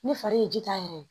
Ne fari ye ji ta yɛrɛ ye